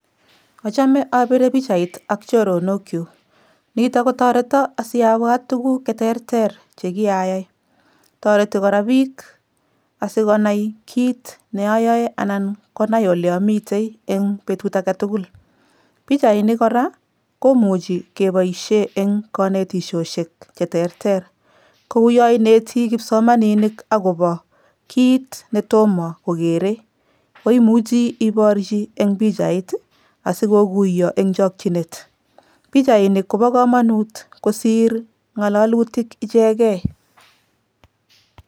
Achome abire pichait ak choronokyuk, nito kotoreto asiabwat tuguk che terter che kiayai, toreti kora piik asikonai kiit ne ayaoe anan konai ole amitei eng betut ake tugul. Pichainik kora komuchi keboisie eng kanetisiosiek che terter, kou yo ineti kipsomaninik akobo kiit ne tomo kokere, koimuchi iborchi eng pichait ii asi kokuyo eng chokchinet, pichainik kobo kamanut kosir ngalalutik ichekei.